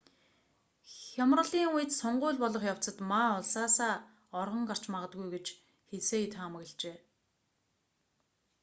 хямралын үед сонгууль болох явцад ма улсаасаа оргон гарч магадгүй гэж хсие таамаглажээ